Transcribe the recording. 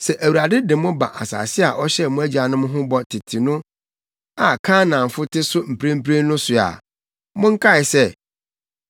“Sɛ Awurade de mo ba asase a ɔhyɛɛ mo agyanom ho bɔ tete no a Kanaanfo te so mprempren no so a, monkae sɛ